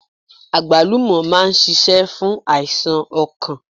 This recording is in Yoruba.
Àgbálùmọ̀ máa n sisé fún àìsàn okàn